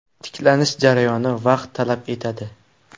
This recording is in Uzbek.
Tiklanish jarayoni vaqt talab etadi.